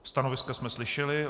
Stanoviska jsme slyšeli.